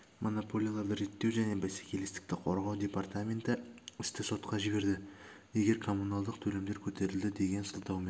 монополияларды реттеу және бәсекелестікті қорғау департаменті істі сотқа жіберді егер коммуналдық төлемдер көтерілді деген сылтаумен